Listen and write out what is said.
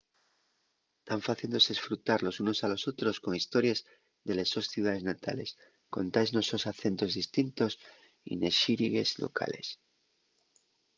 tán faciéndose esfrutar los unos a los otros con histories de les sos ciudaes natales contaes nos sos acentos distintos y nes xírigues llocales